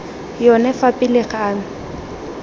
yone fa pele ga me